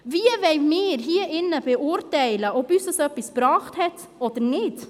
Wie wollen wir hier drin beurteilen, ob uns das etwas gebracht hat oder nicht?